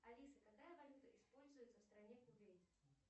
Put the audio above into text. алиса какая валюта используется в стране кувейт